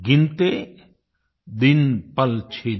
गिनते दिन पलछिन